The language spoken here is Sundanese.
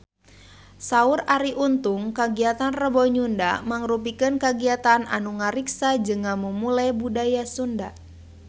Saur Arie Untung kagiatan Rebo Nyunda mangrupikeun kagiatan anu ngariksa jeung ngamumule budaya Sunda